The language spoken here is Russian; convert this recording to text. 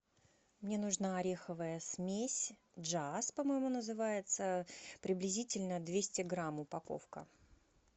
мне нужна ореховая смесь джаз по моему называется приблизительно двести грамм упаковка